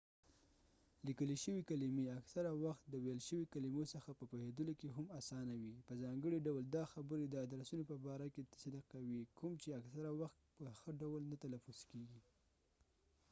لیکلی شوي کلمی اکثره وخت د ويل شوي کلمو څخه په پوهیدلو کې هم اسانه وي په ځانګړی ډول دا خبره د ادرسونو په باره کې صدق کوي کوم چې اکثره وخت په ښه ډول نه تلفظ کېږی